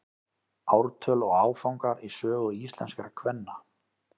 ártöl og áfangar í sögu íslenskra kvenna